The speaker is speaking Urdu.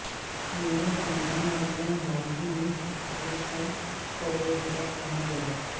میرا خاندان اور میں حال ہی میں چھٹیوں پر فلوریڈا پہنچ گیا